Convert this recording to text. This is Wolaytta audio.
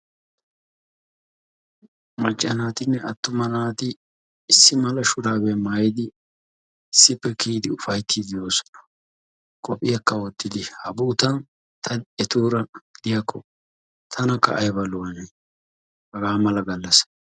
Macca naatinne attuma naati issi mala shuraabiya maayidi issippe kiyidi ufaytiidi de'oososna, qophiyakka wottidi ha bootan ta etuura diyakko tanakka aybba lo'anee hagaa mala galassay